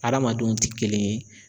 Adamadenw ti kelen ye